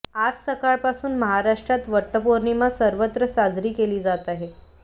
आज सकाळपासून महाराष्ट्रात वटपौर्णिमा सर्वत्र साजरी केली जात आहे